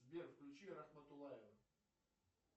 сбер включи рахматуллаева